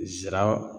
Nsara